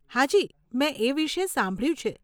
હાજી, મેં એ વિષે સાંભળ્યું છે.